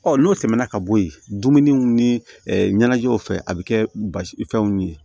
Ɔ n'o tɛmɛna ka bɔ yen dumuniw ni ɲɛnajɛw fɛ a bɛ kɛ basifɛnw ye